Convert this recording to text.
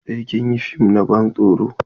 Sai kin yi fim na ban tsoron!